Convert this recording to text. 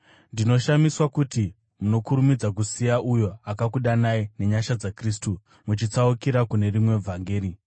Ndinoshamiswa kuti munokurumidza kusiya uyo akakudanai nenyasha dzaKristu muchitsaukira kune rimwe vhangeri,